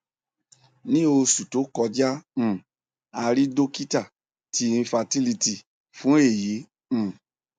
ni oṣu to kọja um a rii dokita ti infertility fun eyi um